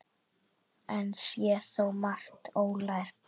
Enn sé þó margt ólært.